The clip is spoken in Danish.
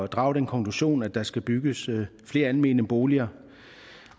drage den konklusion at der skal bygges flere almene boliger